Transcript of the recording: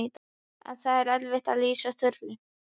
En það er erfitt að lýsa Þuru.